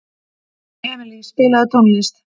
Emilý, spilaðu tónlist.